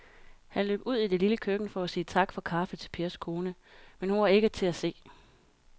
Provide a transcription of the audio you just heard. Han løb ud i det lille køkken for at sige tak for kaffe til Pers kone, men hun var ikke til at se.